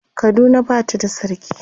Kaduna Bata da sarki